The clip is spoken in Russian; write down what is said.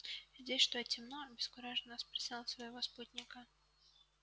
здесь что темно обескураженно спросил он своего спутника